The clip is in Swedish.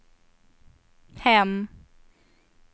hem